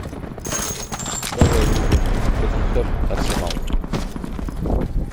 давай врубим тоттенхэм арсенал